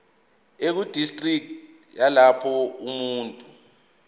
ekudistriki yalapho umuntu